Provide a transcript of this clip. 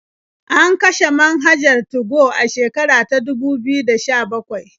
An kashe manhajar 2go a shekara ta dubu biyu da sha-bakwai.